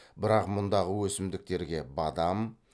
бірақ мұндағы өсімдіктерге бадам